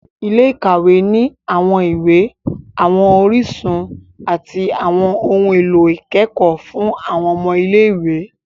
Ilé-ìkawe ni awọn iwe, awọn orísun, ati awọn ohùn èlò ikẹkọ fun awọn ọmọ ilé-ìwé